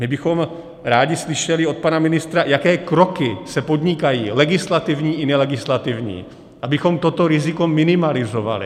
My bychom rádi slyšeli od pana ministra, jaké kroky se podnikají, legislativní i nelegislativní, abychom toto riziko minimalizovali.